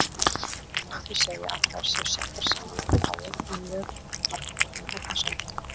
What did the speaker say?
Það má því segja að þær séu settar saman úr fáum en mjög margbrotnum efnasamböndum.